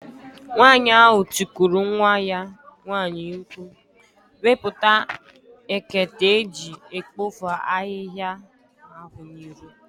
Nwaanyị ahụ tikuru nwa ya nwaanyị mkpụ̀, "Wepụta ekete eji ekpofu ahihia ahụ n'iro!"